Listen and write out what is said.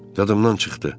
Dadımdan çıxdı.